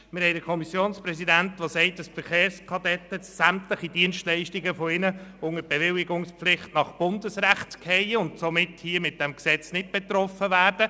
Wir haben den Kommissionspräsidenten, der sagt, dass die Verkehrskadetten und sämtliche ihrer Dienstleistungen unter die Bewilligungspflicht nach Bundesrecht fallen und somit von diesem Gesetz nicht betroffen sein werden.